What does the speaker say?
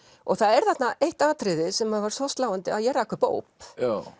og það er þarna eitt atriði sem var svo sláandi að ég rak upp óp